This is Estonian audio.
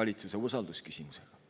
valitsuse usalduse küsimusega.